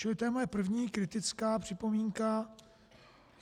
Čili to je moje první kritická připomínka.